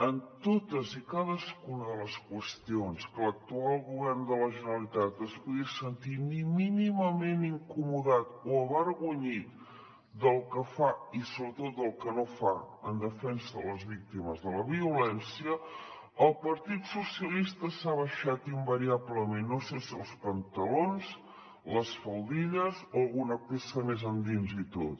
en totes i cadascuna de les qüestions que l’actual govern de la generalitat es podia sentir ni mínimament incomodat o avergonyit del que fa i sobretot del que no fa en defensa de les víctimes de la violència el partit socialista s’ha abaixat invariablement no sé si els pantalons les faldilles o alguna peça de més endins i tot